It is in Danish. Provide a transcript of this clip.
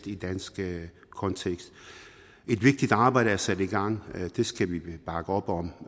i en dansk kontekst et vigtigt arbejde er sat i gang det skal vi bakke op om